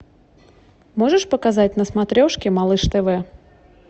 можешь показать на смотрешке малыш тв